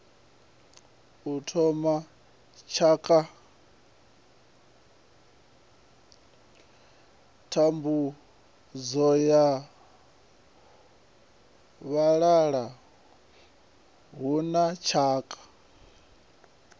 thambudzo ya vhalala huna tshakha